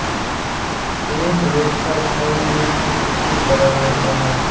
एक वेक्टर छवि एक चित्र की तरह होता है